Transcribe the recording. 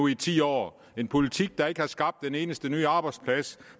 i ti år en politik der ikke har skabt en eneste ny arbejdsplads